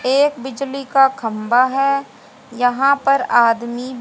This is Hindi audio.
एक बिजली का खंभा है यहां पर आदमी--